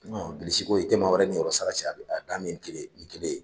Bilisiko i tɛ maa wɛrɛ ninyɔrɔsa cɛ , a dan ye nin kelen in yekanmi kelen ye. ni kelen ye.